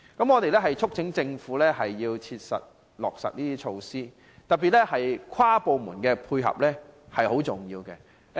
我們促請政府切實落實有關措施，跨部門的配合尤其重要。